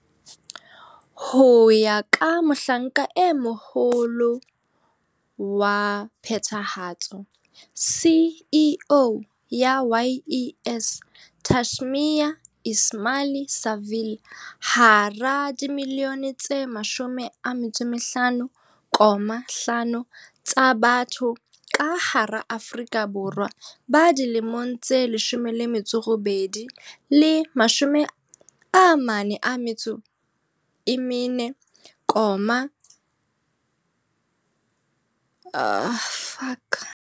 Ho ya ka Mohlanka e Moho -lo wa Phethahatso, CEO, ya YES Tashmia Ismail-Saville, hara dimilione tse 15.5 tsa batho ka hara Aforika Borwa ba dilemong tse 18 le 34, 5.8 milione ke ba sa sebetseng.